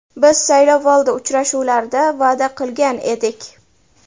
Biz saylovoldi uchrashuvlarida va’da qilgan edik.